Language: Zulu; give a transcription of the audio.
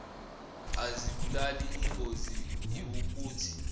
azibulali ingozi iwukuthi